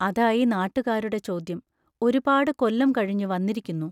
അതായി നാട്ടുകാരുടെ ചോദ്യം: ഒരുപാട് കൊല്ലം കഴിഞ്ഞു വന്നിരിക്കുന്നു.